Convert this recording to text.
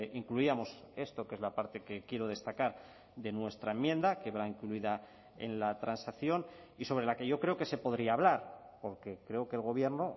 incluíamos esto que es la parte que quiero destacar de nuestra enmienda que va incluida en la transacción y sobre la que yo creo que se podría hablar porque creo que el gobierno